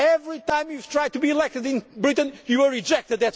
people. Every time you have tried to be elected in Britain you were